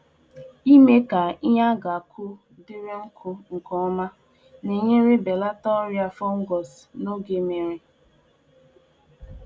um Ime ka um ngwongwo e ji akụnye ihe n'ubi kọọ mmiri nkeoma Na-ebelata nje ọrịa fọngai n'oge udummiri.